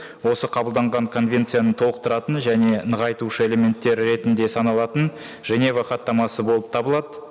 осы қабылданған конвенцияны толықтыратын және нығайтушы элементтері ретінде саналатын женева хаттамасы болып табылады